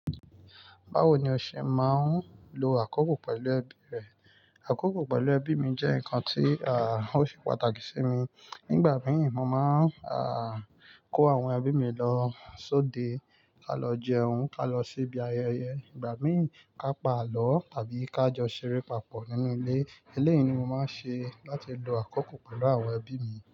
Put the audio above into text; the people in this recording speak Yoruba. Báwo ni o ṣe máa ń lo àkókò pẹ̀lú ẹbí rẹ? Àkókò pẹ̀lú ẹbí mi jẹ́ nǹkan tí, à, ó ṣe pàtàkì sí mi. Nígbà míì, mo máa ń kó àwọn ẹbí mi lọ sóde, ká lọ jẹun, ká lọ sí ibi ayẹyẹ. Ìgbà mí, ká pa àlọ́ tàbí ká jọ ṣeré papọ̀ nínú ilé. Eléyìí ni mo máa ń ṣe láti lo àkókò pẹ̀lú àwọn ẹbí mi.